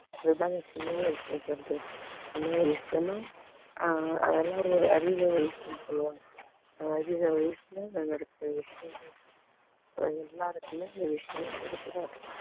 அதுதாங்க சின்ன வயசுல இருக்கறது சின்ன வயசுலனா அஹ் அதெல்லாம் ஒரு அறியர வயசுன்னு சொல்லுவாங்க அஹ் அறியர வயசுல எல்லாம் நடக்குற விஷயங்கள் அது எல்லாருக்குமே இந்த விஷயம் கிடைச்சிடாது